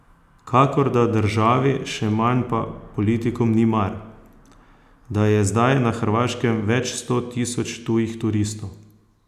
Kakor da državi, še manj pa politikom ni mar, da je zdaj na Hrvaškem več sto tisoč tujih turistov.